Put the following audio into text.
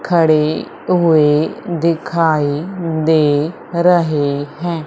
खड़े हुए दिखाई दे रहे हैं।